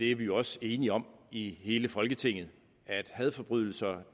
er jo også enige om i hele folketinget at hadforbrydelser